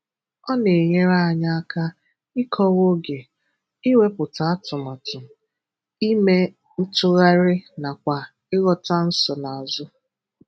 Ọ na-enyere anyị aka ịkọwa oge, iwepụta atụmatu, ime ntụgharị nakwa ịghọta nsonaazụ.